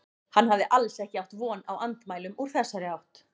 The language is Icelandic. Hann hafði alls ekki átt von á andmælum úr þessari átt.